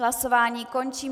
Hlasování končím.